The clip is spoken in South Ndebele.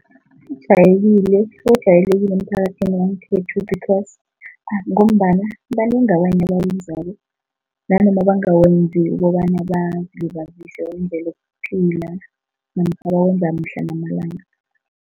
Ojayelekile emphakathini wangekhethu because, ngombana banengi abanye abawenzako nanoma bangawenzi ukobana bazilibazise bawenzela ukuphila namkha bawenza mihla namalanga.